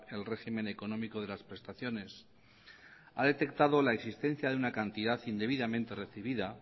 el régimen económico de las prestaciones ha detectado la existencia de una cantidad indebidamente recibida